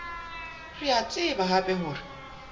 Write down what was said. re a tseba hape hore